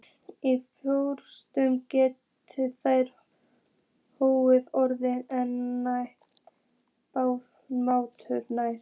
Í frostum geta þær þó orðið nær blátærar.